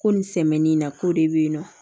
Ko nin sɛmɛni in na k'o de bɛyinɔ